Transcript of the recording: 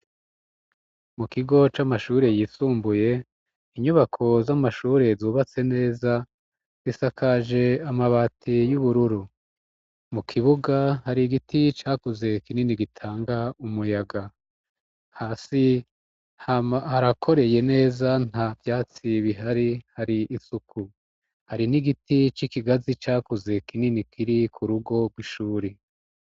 Mu kigo c'amashure yisumbuye inyubako z'amashure zubatse neza risakaje amabati y'ubururu mu kibuga hari igiti cakuze kinini gitanga umuyaga hasi harakoreye neza nta vyatsi bihari hari isuku hari n'igiti c'ikigazi cakuze kinini kiri ku rugo rw'ishuri.